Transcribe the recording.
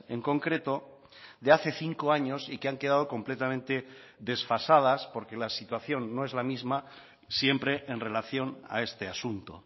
en concreto de hace cinco años y que han quedado completamente desfasadas porque la situación no es la misma siempre en relación a este asunto